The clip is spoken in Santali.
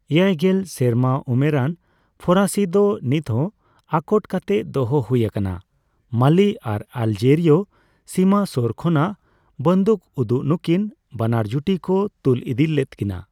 ᱮᱭᱟᱭᱜᱮᱞ ᱥᱮᱨᱢᱟ ᱩᱢᱮᱨᱟᱱ ᱯᱷᱚᱨᱟᱥᱤ ᱫᱚ ᱱᱤᱛᱦᱚᱸ ᱟᱠᱚᱴ ᱠᱟᱛᱮ ᱫᱚᱦᱚ ᱦᱩᱭ ᱟᱠᱟᱱᱟ, ᱢᱟᱞᱤ ᱟᱨ ᱟᱞᱡᱮᱨᱤᱭᱚ ᱥᱤᱢᱟᱹ ᱥᱳᱨ ᱠᱷᱚᱱᱟᱜ ᱵᱟᱹᱫᱩᱠ ᱩᱫᱩᱜ ᱱᱩᱠᱤᱱ ᱵᱟᱱᱟᱨ ᱡᱩᱴᱤ ᱠᱚ ᱛᱩᱞ ᱤᱫᱤ ᱞᱮᱫ ᱠᱤᱱᱟ ᱾